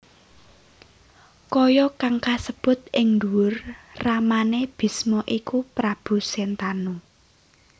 Kaya kang kasebut ing ndhuwur ramane Bisma iku Prabu Sentanu